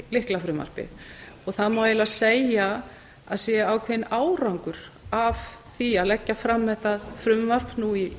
lyklafrumvarpið og það má segja að það sé ákveðinn árangri af því að leggja fram þetta frumvarp